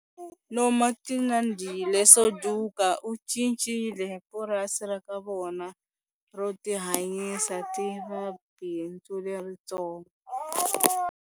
Nomagcinandile Suduka u cincile purasi ra ka vona ro tihanyisa ri va bindzu leritsongo.